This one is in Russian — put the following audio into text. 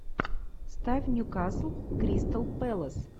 ставь ньюкасл кристал пэлас